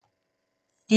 DR1